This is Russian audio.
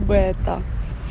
бета